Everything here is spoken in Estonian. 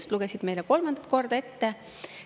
Nad lugesid selle meile kolmandat korda ette.